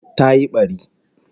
Ta yi bari